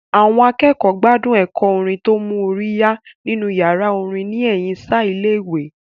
Àwọn akẹ́kọ̀ọ́ gbádùn ẹ̀kọ́ orin tó mú orí yá nínú yàrá orin ní ẹ̀yìn ṣáá ilé ìwé